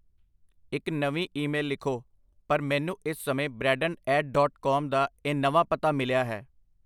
ਇਕ ਨਵੀਂ ਈਮੇਲ ਲਿਖੋ , ਪਰ ਮੈਨੂੰ ਇਸ ਸਮੇਂ ਬ੍ਰੈਡਨ ਐਟ ਡਾਟ ਕਾਮ ਦਾ ਇਹ ਨਵਾਂ ਪਤਾ ਮਿਲਿਆ ਹੈ।